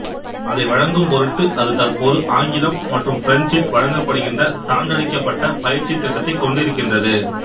அதை வழங்கும் பொருட்டு அது தற்போது ஆங்கிலம் மற்றும் பிரெஞ்சில் வழங்கப்படுகின்ற சான்றளிக்கப்பட்ட பயிற்சி திட்டத்தைக் கொண்டிருக்கின்றது